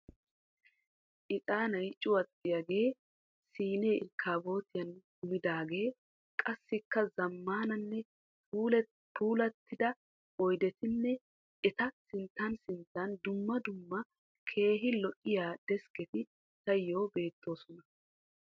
Ixaanay cuwattiyagee, siinee irkkaabootiyan kumidaagee, qassikka zammaananne puulattida oyidetinne eta sinttan sinttan dumma dumma keehi lo'iya deskketi tayyoo beettoosona .